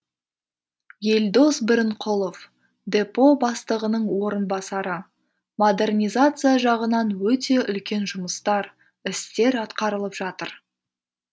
елдос бірінқұлов депо бастығының орынбасары модернизация жағынан өте үлкен жұмыстар істер атқарылып жатыр